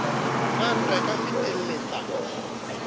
na ntwa e ka fetelletsang